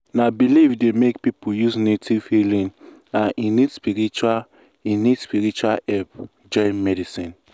na belief dey make people use native healing and e need spiritual e need spiritual help join medicine.